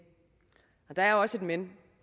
der er også et men